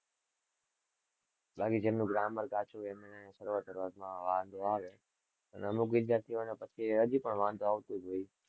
બાકી જેમનું grammar કાચું હોય એમને રોજ વાંચવા માં વાંધો પછી હજુ એ વાંધો આવતો,